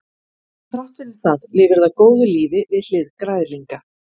þrátt fyrir það lifir það góðu lífi við hlið græðlinga